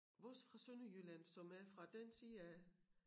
Vores fra Sønderjylland som er fra den side af